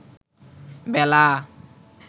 বেলা